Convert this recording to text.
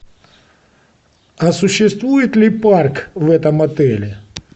а существует ли парк в этом отеле